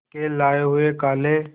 के लाए हुए काले